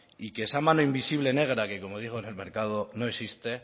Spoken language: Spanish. y que esa mano invisible negra que como digo en el mercado no existe